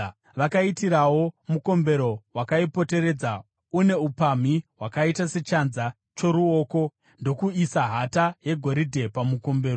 Vakaiitirawo mukombero wakaipoteredza une upamhi hwakaita sechanza choruoko ndokuisa hata yegoridhe pamukombero.